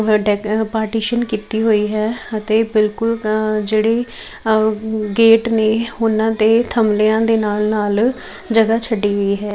Partition ਕੀਤੀ ਹੋਈ ਹੈ ਅਤੇ ਬਿਲਕੁਲ ਜਿਹੜੀ ਗੇਟ ਨੇ ਉਹਨਾਂ ਤੇ ਥਮਲੇ ਦੇ ਨਾਲ ਨਾਲ ਜਗ੍ਹਾ ਛੱਡੀ ਵੀ ਹੈ।